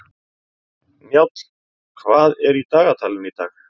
Njáll, hvað er í dagatalinu í dag?